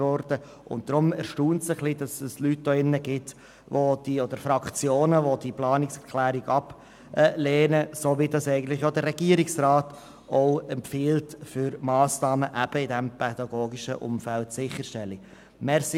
Deshalb erstaunt es ein wenig, dass es hier drin Leute beziehungsweise Fraktionen gibt, die diese Planungserklärung ablehnen, die – wie es der Regierungsrat empfiehlt – Massnahmen in diesem pädagogischen Bereich umsetzen will.